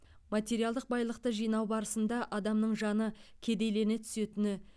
материалдық байлықты жинау барысында адамның жаны кедейлене түсетіні